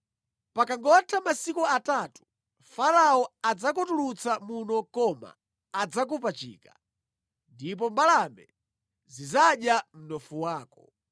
Pakangotha masiku atatu Farao adzakutulutsa muno koma adzakupachika. Ndipo mbalame zidzadya mnofu wako.”